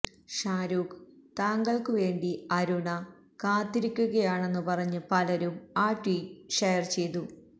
ഷാരൂഖ് താങ്കൾക്കു വേണ്ടി അരുണ കാത്തിരിക്കുകയാണെന്നു പറഞ്ഞ് പലരും ആ ട്വീറ്റ് ഷെയർ ചെയ്തു